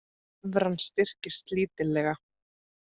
Evran styrkist lítillega